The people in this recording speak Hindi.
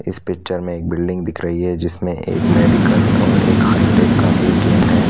इस पिक्चर में एक बिल्डिंग दिख रही है जिसमें एक मेडिकल और एक हाईटेक का एटीएम है।